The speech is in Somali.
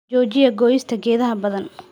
Joojiya goyista geedaha badan